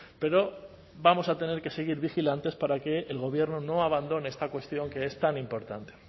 pero vamos a tener que seguir vigilantes para que el gobierno no abandone esta cuestión que es tan importante